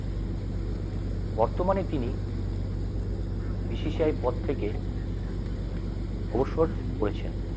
বর্তমানে তিনি BCCI আইয় পদ থেকে অবসর করেছেন